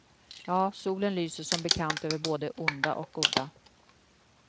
Ja, solen lyser som bekant över både onda och goda.